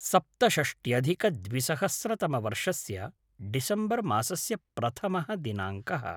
सप्तषष्ट्यधिकद्विसहस्रतमवर्षस्य December मासस्य प्रथमः दिनाङ्कः